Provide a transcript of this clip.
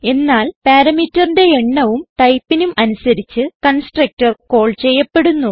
എന്നാൽ parameterന്റെ എണ്ണവും ടൈപ്പിനും അനുസരിച്ച് കൺസ്ട്രക്ടർ കാൾ ചെയ്യപ്പെടുന്നു